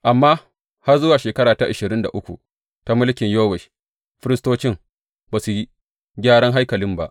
Amma har zuwa shekara ta ashirin da uku ta mulkin Yowash, firistocin ba su yi gyara haikalin ba.